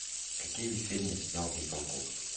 какие фильмы снял михалков